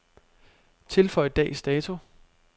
Tilføj dags dato.